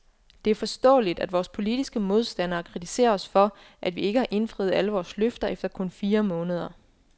Det er forståeligt, at vores politiske modstandere kritiserer os for, at vi ikke har indfriet alle vores løfter efter kun fire måneder.